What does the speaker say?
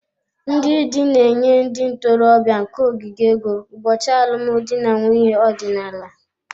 Ndị di na-enye ndị ntorobịa nke ogige ego ụbọchị alụmdi na nwunye ọdịnala